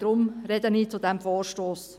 Deshalb spreche ich zu diesem Vorstoss.